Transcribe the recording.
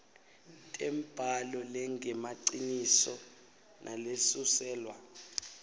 tembhalo lengemaciniso nalesuselwa